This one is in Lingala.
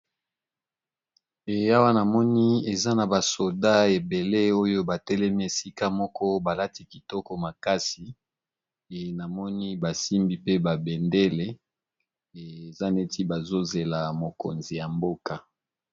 Eya wanamoni eza na basoda ebele oyo batelemi esika moko balati kitoko makasi e namoni basimbi pe ba bendele eza neti bazozela mokonzi ya mboka